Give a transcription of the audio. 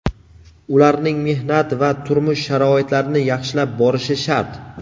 ularning mehnat va turmush sharoitlarini yaxshilab borishi shart.